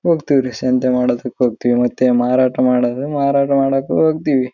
ಹೋಗತೀವಿ ಹೋಗತೀವಿ ಸಂತೆ ಮಾಡೋದಕ್ಕೆ ಹೋಗತೀವಿ ಮತ್ತೆ ಮಾರಾಟ ಮಾಡು ಅಂದ್ರೆ ಮಾರಾಟ ಮಾಡೋಕು ಹೋಗತೀವಿ-